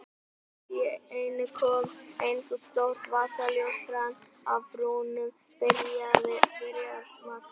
Allt í einu kom eins og stórt vasaljós fram af brúninni, byrjar Magga.